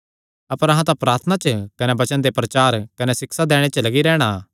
अपर अहां तां प्रार्थना च कने वचन दे प्रचार कने सिक्षा दैणे च लग्गी रैहणा